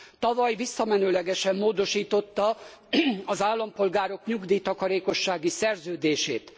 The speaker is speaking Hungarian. Tavaly visszamenőlegesen módosította az állampolgárok nyugdíj takarékossági szerződését.